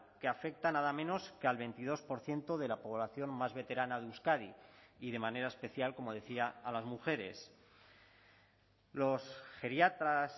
que afecta nada menos que al veintidós por ciento de la población más veterana de euskadi y de manera especial como decía a las mujeres los geriatras